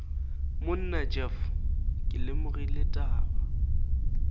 monna jeff ke lemogile taba